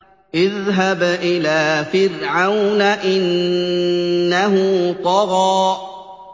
اذْهَبْ إِلَىٰ فِرْعَوْنَ إِنَّهُ طَغَىٰ